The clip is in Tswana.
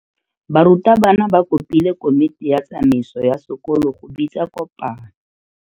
Burutabana ba kopile komiti ya tsamaiso ya sekolo go bitsa kopano.